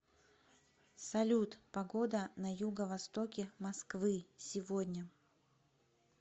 салют погода на юго востоке москвы сегодня